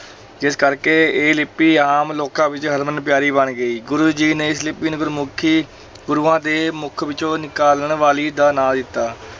ਜਿਸ ਕਰਕੇ ਇਹ ਲਿਪੀ ਆਮ ਲੋਕਾਂ ਵਿੱਚ ਹਰਮਨ ਪਿਆਰੀ ਬਣ ਗਈ, ਗੁਰੂ ਜੀ ਨੇ ਇਸ ਲਿਪੀ ਨੂੰ ਗੁਰਮੁਖੀ ਗੁਰੂਆਂ ਦੇ ਮੁੱਖ ਵਿੱਚੋਂ ਨਿਕਲਣ ਵਾਲੀ ਦਾ ਨਾਂ ਦਿੱਤਾ।